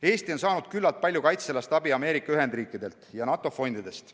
Eesti on saanud küllalt palju kaitsealast abi Ameerika Ühendriikidelt ja NATO fondidest.